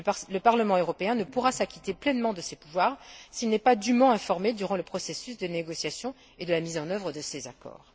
Le Parlement européen ne pourra s'acquitter pleinement de ses pouvoirs s'il n'est pas dûment informé durant le processus des négociations et de la mise en œuvre de ces accords.